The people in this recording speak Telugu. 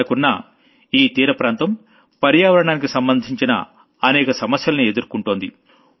మనకున్న ఈ తీర ప్రాంతం పర్యావరణానికి సంబంధించిన అనేక సమస్యల్ని ఎదుర్కుంటోంది